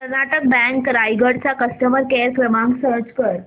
Karnataka bank Raigad चा customer care क्रमांक search कर